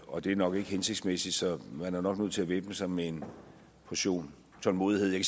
og det er nok ikke hensigtsmæssigt så man er nok nødt til at væbne sig med en portion tålmodighed jeg